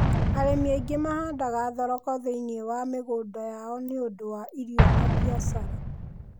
Arĩmi aingĩ mahandaga thoroko thĩiniĩ wa mĩgũnda ya o nĩ ũndũ wa irio na biacara.